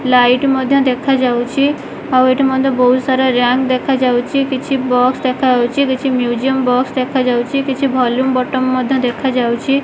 Light ମଧ୍ୟ ଦେଖାଯାଉଚି ଆଉ ଏଠି ମଧ୍ୟ ବହୁତ ସାରା ରୟାଙ୍କ ଦେଖାଯାଉଚି କିଛି ବକ୍ସ୍ ଦେଖାଯାଉଚି କିଛି ମିଉଜିୟମ ବକ୍ସ୍ ଦେଖାଯାଉଚି କିଛି ଭଲ୍ୟୁଉମ୍ ବଟନ ମଧ୍ୟ ଦେଖାଯାଉଚି।